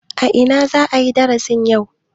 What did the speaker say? A ina za a yi darasin yau?